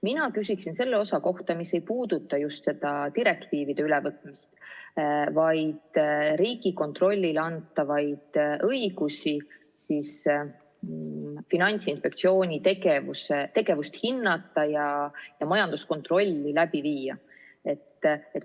Mina küsin selle osa kohta, mis ei puuduta direktiivide ülevõtmist, vaid Riigikontrollile antavaid õigusi Finantsinspektsiooni tegevust hinnata ja majanduskontrolli läbi viia.